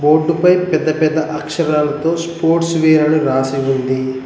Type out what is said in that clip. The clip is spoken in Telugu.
బోర్డు పై పెద్ద పెద్ద అక్షరాలతో స్పోర్ట్స్ వేర్ అని రాసి ఉంది.